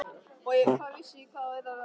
Og hvað vissi ég hvernig þú yrðir á skrokkinn.